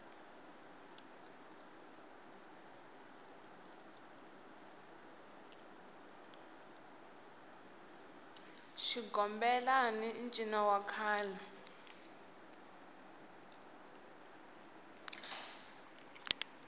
xigomelai ncino wa kahle